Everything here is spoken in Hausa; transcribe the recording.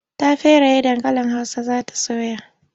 Ta feraye dankalin Hausa za ta soya.